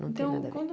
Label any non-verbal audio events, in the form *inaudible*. Não tenho *unintelligible*